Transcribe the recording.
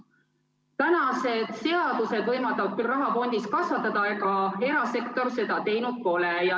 Praegused seadused võimaldavad küll raha fondis kasvatada, aga erasektor seda teinud pole.